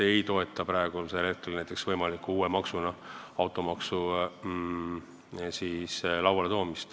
Me ei toeta kindlasti praegu võimaliku uue maksuna automaksu.